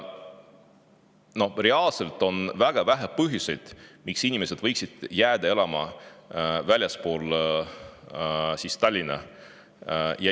Reaalselt on väga vähe põhjuseid, miks inimesed võiksid jääda elama väljapoole Tallinna.